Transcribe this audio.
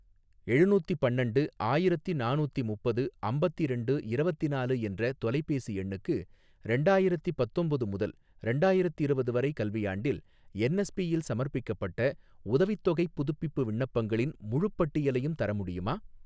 எழுநூத்தி பன்னண்டு ஆயிரத்தி நானூத்தி முப்பது அம்பத்திரெண்டு இரவத்தினாலு என்ற தொலைபேசி எண்ணுக்கு ரெண்டாயிரத்தி பத்தொம்போது முதல் ரெண்டாயிரத்திரவது வரை கல்வியாண்டில் என்எஸ்பி யில் சமர்ப்பிக்கப்பட்ட உதவித்தொகைப் புதுப்பிப்பு விண்ணப்பங்களின் முழுப் பட்டியலையும் தர முடியுமா?